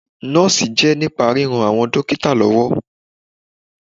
Nọ́ọ̀sì jẹ́ nípa ríran àwọn dókítà lọ́wọ́.